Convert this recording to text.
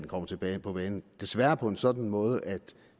kommet tilbage på banen desværre på en sådan måde at